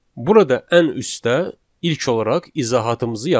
Burada ən üstdə ilk olaraq izahatımızı yazırıq.